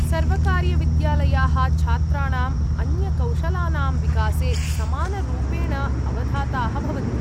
सर्वकारीयविद्यालयाः छात्राणाम् अन्यकौशलानां विकासे समानरूपेण अवधाताः भवन्ति।